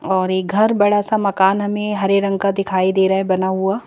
और एक घर बड़ा सा मकान हमें हरे रंग का दिखाई दे रहा है बना हुआ--